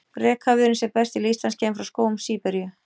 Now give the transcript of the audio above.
Rekaviðurinn sem berst til Íslands kemur frá skógum Síberíu.